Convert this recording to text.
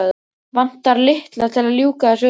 Vantar lykla til að ljúka þessu upp.